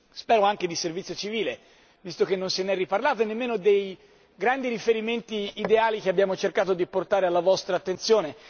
Spero anche di Servizio civile, visto che non se n'è riparlato, e nemmeno dei grandi riferimenti ideali che abbiamo cercato di portare alla vostra attenzione.